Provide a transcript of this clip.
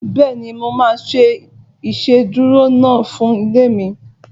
Bẹ́ẹ̀ni, mo máa ṣe ìsedúró iná fún ilé mi